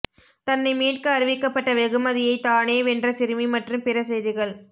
தன்னை மீட்க அறிவிக்கப்பட்ட வெகுமதியை தானே வென்ற சிறுமி மற்றும் பிற செய்திகள்